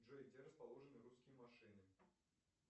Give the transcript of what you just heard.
джой где расположены русские машины